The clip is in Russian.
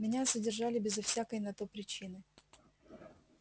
меня задержали безо всякой на то причины